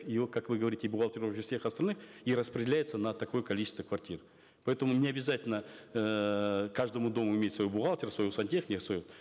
и как вы говорите бухгалтеров и всех остальных и распределяется на такое количество квартир поэтому не обязательно эээ каждому дому иметь своего бухгалтера своего сантехника своего